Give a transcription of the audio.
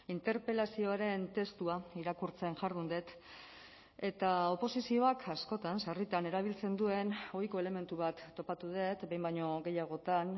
interpelazioaren testua irakurtzen jardun dut eta oposizioak askotan sarritan erabiltzen duen ohiko elementu bat topatu dut behin baino gehiagotan